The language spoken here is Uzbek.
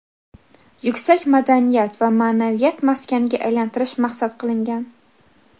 yuksak madaniyat va ma’naviyat maskaniga aylantirish maqsad qilingan.